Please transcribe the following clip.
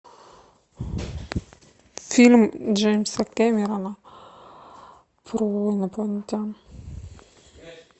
фильм джеймса кэмерона про инопланетян